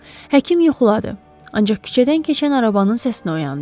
Həkim yuxuladı, ancaq küçədən keçən arabanın səsinə oyandı.